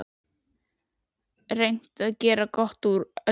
Reynt að gera gott úr öllu.